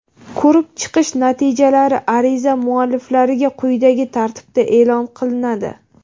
Ko‘rib chiqish natijalari ariza mualliflariga quyidagi tartibda eʼlon qilinadi:.